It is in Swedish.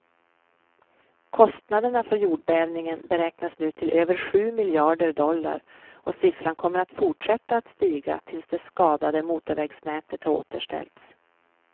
Kostnaderna för jordbävningen beräknas nu till över sju miljarder dollar och siffran kommer att fortsätta att stiga tills det skadade motorvägsnätet har återställts.